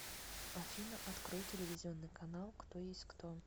афина открой телевизионный канал кто есть кто